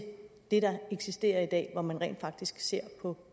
det der eksisterer i dag hvor man rent faktisk ser på